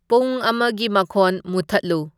ꯄꯨꯡ ꯑꯃꯒꯤ ꯃꯈꯣꯟ ꯃꯨꯊꯠꯂꯨ